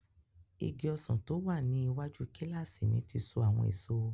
Igi ọsàn tó wà ní iwájú kílásì mi ti so àwọn èso